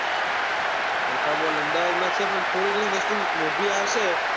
alpha mall Ahmedabad માં જ છે પણ થોડી ઘણી વસ્તુ મોંઘી આવશે.